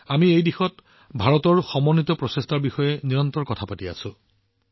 আমি এই দিশত ভাৰতৰ দৃঢ় প্ৰচেষ্টাৰ বিষয়ে নিৰন্তৰে কথা পাতি আছো